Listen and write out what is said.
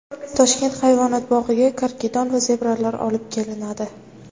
Toshkent hayvonot bog‘iga karkidon va zebralar olib kelinadi.